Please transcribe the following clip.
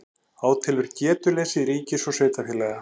Átelur getuleysi ríkis og sveitarfélaga